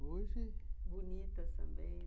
Hoje... Bonita também.